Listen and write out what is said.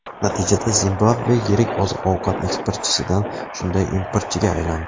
Natijada Zimbabve yirik oziq-ovqat eksportchisidan shunday importchiga aylandi.